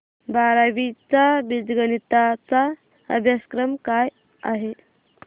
बारावी चा बीजगणिता चा अभ्यासक्रम काय आहे